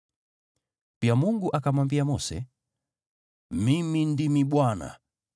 Pia Mungu akamwambia Mose, “Mimi ndimi Bwana .